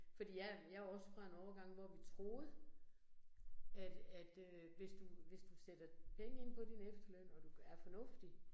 Fordi jeg jeg jo også fra en årgang, hvor vi troede, at at øh hvis du hvis du sætter penge ind på din efterløn, og du er fornuftig